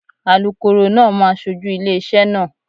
Alukoro náà máa ṣojú ilé iṣẹ́ náà.